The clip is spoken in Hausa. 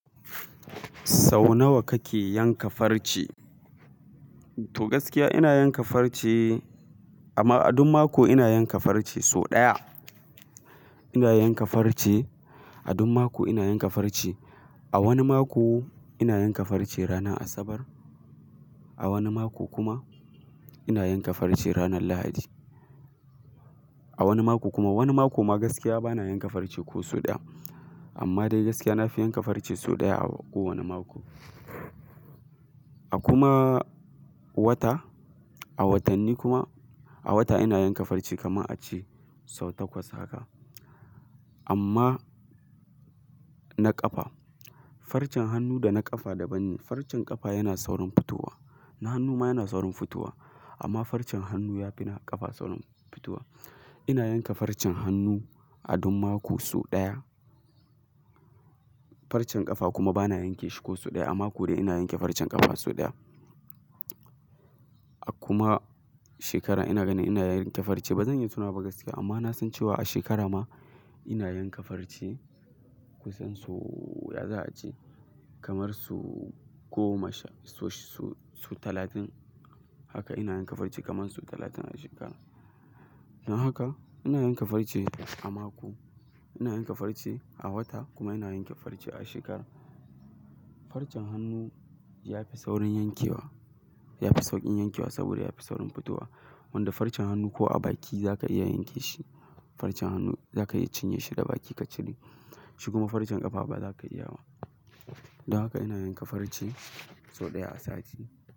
Sau nawa kake yanka farce? To gaskiya ina yanka farce amma a duk mako ina yanka farce sau ɗaya. Ina yanka farce a duk mako ina yanka farce. A wani mako ina yanka farce ranar Asabar, a wani mako kuma ina yanka farce ranar Lahadi. A wani mako kuma wani mako ma gaskiya bana yanka farce ko sau ɗaya. Amma dai gaskiya na fi yanka farce sau ɗaya a kowane mako. A kuma wata, a watanni kuma a wata ina yanka farce kamar a ce sau takwas haka. Amma na ƙafa, farcen hannu da na ƙafa daban ne. Farcen ƙafa yana saurin fitowa na hannu ma yana saurin fitowa amma farcen hannu ya fi na ƙafa saurin fitowa. Ina yanka farcen hannu a duk mako sau ɗaya. Farcen ƙafa kuma bana yanke shi ko sau ɗaya a mako dai ina yanke farcen ƙafa sau ɗaya. A kuma shekara ina ganin ina yanke farce bazan yi tunawa ba gaskiya amma na san cewa a shekara ma ina yanka farce kusan sau ya za'a ce kamar so goma sha-- so-su-sau talatin. Haka ina yanka farce kamar sau talatin a shekara. Don haka ina yanka farce a mako, ina yanka farce a wata kuma ina yanke farce a shekara. Farcen hannu ya fi saurin yankewa, ya fi sauƙin yankewa saboda ya fi saurin fitowa. Wanda farcen hannu ko a baki za ka iya yanke shi. Farcen hannu za ka iya cinye shi da baki ka cire shi kuma farcen ƙafa ba za ka iya wa. Don haka ina yanka farce sau ɗaya a sati.